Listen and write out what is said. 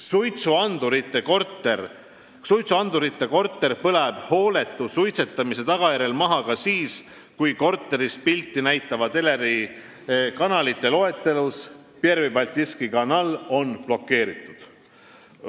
Suitsuandurita korter põleb hooletu suitsetamise tagajärjel maha ka siis, kui korteris pilti näitava teleri kanalite loetelus on Pervõi Baltiiski Kanal blokeeritud.